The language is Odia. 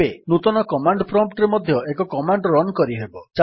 ଏବେ ନୂତନ କମାଣ୍ଡ୍ ପ୍ରମ୍ପ୍ଟ୍ ରେ ମଧ୍ୟ ଏକ କମାଣ୍ଡ୍ ରନ୍ କରିହେବ